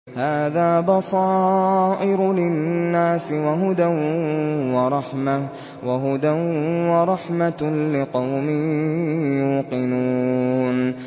هَٰذَا بَصَائِرُ لِلنَّاسِ وَهُدًى وَرَحْمَةٌ لِّقَوْمٍ يُوقِنُونَ